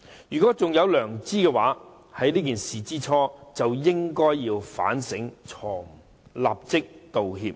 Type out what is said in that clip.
如果他們還有良知，在發生這件事之初就應該反省錯誤，立即道歉。